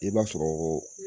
I b'a sɔrɔ